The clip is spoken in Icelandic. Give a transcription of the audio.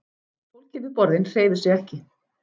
Fólkið við borðin hreyfir sig ekki.